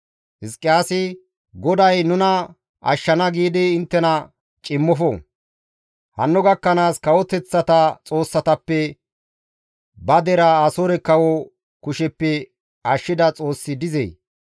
«Hizqiyaasi, ‹GODAY nuna ashshana› giidi inttena cimmofo. Hanno gakkanaas kawoteththata xoossatappe ba deraa Asoore kawo kusheppe ashshida xoossi dizee?